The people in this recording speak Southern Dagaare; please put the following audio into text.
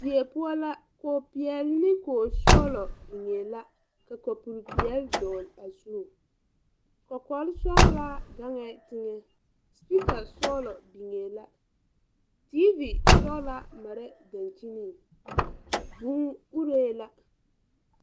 Die poɔ la kog peɛɛl kog sɔglɔ biŋee la ka kapure peɛɛli dɔgle a zu kɔkɔlsɔglaa gaŋɛɛ teŋɛ sepiika sɔglɔ biŋee la teevi sɔglaa maree dangkyiniŋ vūū uree la.